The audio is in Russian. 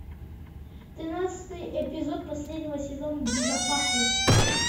тринадцатый эпизод последнего сезона безопасность